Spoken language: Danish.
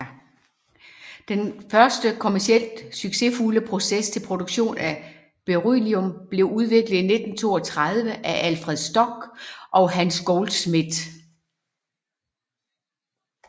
Den første kommercielt succesfulde proces til produktion af beryllium blev udviklet i 1932 af Alfred Stock og Hans Goldschmidt